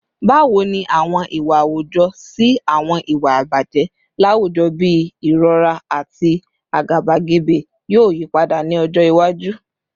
Bawo ni awọn iwa awujọ si awọn iwa ibaje lawujọ bii irọra ati agabagebe yoo yipada ni ọjọ iwaju?